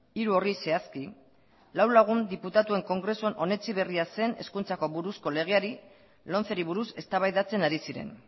hiru horri zehazki lau lagun diputatuen kongresuan onetsi berria zen hezkuntzako buruzko legeari lomceri buruz eztabaidatzen ari ziren